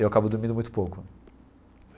Eu acabo dormindo muito pouco.